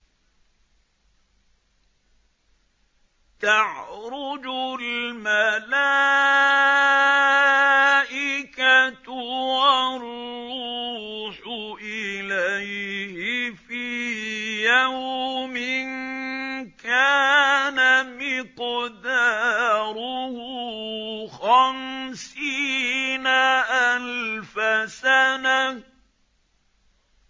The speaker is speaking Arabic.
تَعْرُجُ الْمَلَائِكَةُ وَالرُّوحُ إِلَيْهِ فِي يَوْمٍ كَانَ مِقْدَارُهُ خَمْسِينَ أَلْفَ سَنَةٍ